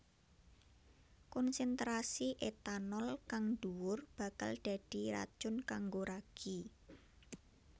Konsentrasi etanol kang dhuwur bakal dadi racun kanggo ragi